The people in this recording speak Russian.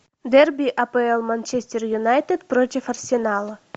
дерби апл манчестер юнайтед против арсенала